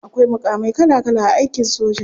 Akwai mukamai kala kala a aikin soja.